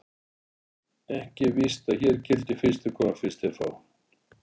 Ekki er víst að hér gildi: Fyrstir koma, fyrstir fá.